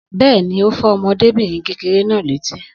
Bẹ́ẹ̀ni, ó fọ́ ọmọdébìnrin kékeré náà létí